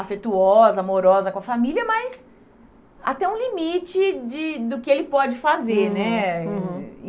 afetuosa, amorosa com a família, mas até um limite de do que ele pode fazer, né? Uhum, uhum.